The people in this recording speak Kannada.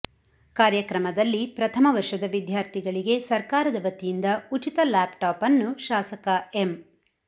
ಕಾರ್ಯಕ್ರಮದಲ್ಲಿ ಪ್ರಥಮ ವರ್ಷದ ವಿದ್ಯಾರ್ಥಿಗಳಿಗೆ ಸರ್ಕಾರದ ವತಿಯಿಂದ ಉಚಿತ ಲ್ಯಾಪ್ಟಾಪ್ ಅನ್ನು ಶಾಸಕ ಎಂ